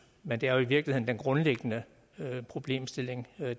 men det er jo i virkeligheden den grundlæggende problemstilling